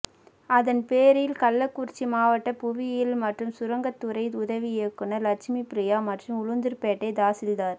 அதன்பேரில் கள்ளக்குறிச்சி மாவட்ட புவியியல் மற்றும் சுரங்கத்துறை உதவி இயக்குனர் லட்சுமி பிரியா மற்றும் உளுந்துார் பேட்டை தாசில்தார்